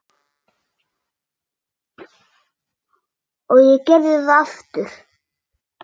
Og ég gerði það aftur.